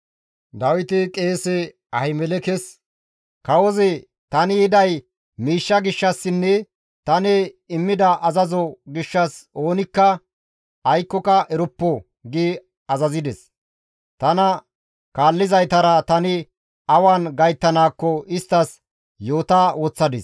Dawiti qeese Ahimelekes, «Kawozi, ‹Tani yiday miishsha gishshassinne tani immida azazo gishshas oonikka aykkoka eroppo› gi azazides. Tana kaallizaytara tani awan gayttanaakko isttas yoota woththadis.